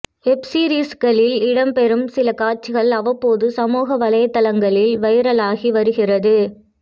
web சீரிஸ்களில் இடம்பெறும் சில காட்சிகள் அவ்வப்போது சமூக வலைதளங்களில் வைரலாகி வருகிறது